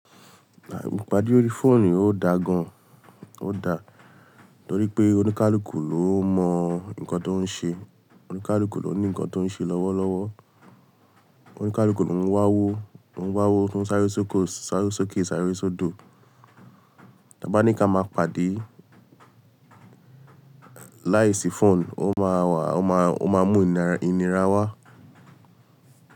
À, ìpàdé orí fóònù ó da gan, ó da. Torí pé oníkálukú ló mọ nǹkan tó ń ṣe, oníkálukú ló ní nǹkan tó ń ṣe lọ́wọ́lọ́wọ́. Oníkálukú ló ń wá owó, ń wá owó to n sáré sóko, sáré sókè, sáré sódò. Ta bá ní ká máa pàdé láìsí fóònù, ó máa wà, ó máa, ó máa mú ìnira wá.